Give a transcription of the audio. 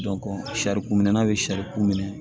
sarikun minɛ bɛ sari kun minɛ